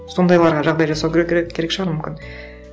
сондайларға жағдай жасау керек керек шығар мүмкін